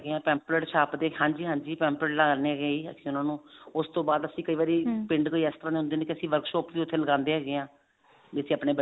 ਹੈਗੇ ਆ pamphlet ਛਾਪਦੇ ਹਾਂਜੀ ਹਾਂਜੀ pamphlet ਲਗਾਉਂਦੇ ਹੈਗੇ ਹਾਂ ਅਸੀਂ ਉਸਤੋਂ ਬਾਅਦ ਅਸੀਂ ਕਈ ਵਾਰੀ ਪਿੰਡ ਤੋਂ extra ਹੁੰਦੇ ਹੈਗੇ ਨੇ workshop ਵੀ ਉੱਥੇ ਲਗਾਉਂਦੇ ਹੈਗੇ ਹਾਂ ਜਿੱਥੇ ਆਪਣੇ